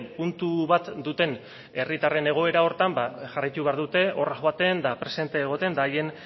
puntu bat duten herritarren egoera horretan jarraitu behar dute horra joaten eta presente egoten eta haien